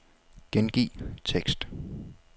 Gengiv tekst.